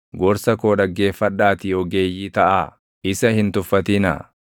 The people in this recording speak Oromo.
Gorsa koo dhaggeeffadhaatii ogeeyyii taʼaa; isa hin tuffatinaa.